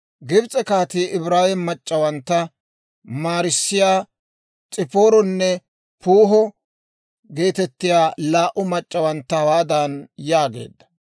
Gibs'e kaatii Ibraawe mac'c'awantta maarissiyaa S'ipaaronne Puuho geetettiyaa laa"u mac'c'awantta hawaadan yaageedda;